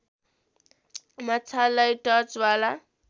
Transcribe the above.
माछालाई टर्चवाला